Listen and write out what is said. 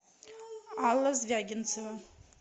алла звягинцева